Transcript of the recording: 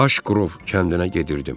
Aş Qrov kəndinə gedirdim.